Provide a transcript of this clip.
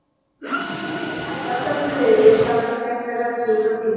Marglyndur hef ég alla tíð verið og sjaldan gert mér rellu útaf því.